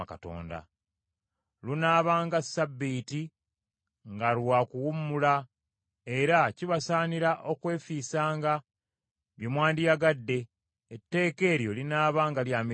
Lunaabanga ssabbiiti nga lwa kuwummula; era kibasaanira okwefiisanga bye mwandiyagadde; etteeka eryo linaabanga lya mirembe gyonna.